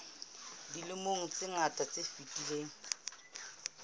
dilemong tse ngata tse fetileng